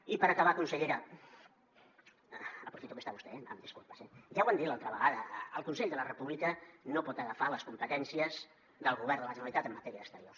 i per acabar consellera aprofito que hi és vostè eh em disculpa ja ho vam dir l’altra vegada el consell per la república no pot agafar les competències del govern de la generalitat en matèria d’exteriors